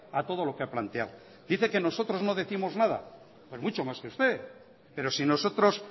a todo lo que ha planteado dice que nosotros no décimos nada pues mucho más que usted pero si nosotros